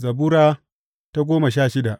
Zabura Sura goma sha shida